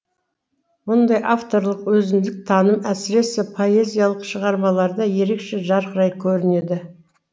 мұндай авторлық өзіндік таным әсіресе поэзиялық шығармаларда ерекше жарқырай көрінеді